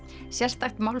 sérstakt málfar